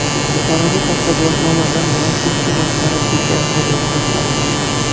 Buxoroda soxta guvohnoma bilan Lacetti boshqarib yurgan haydovchi aniqlandi.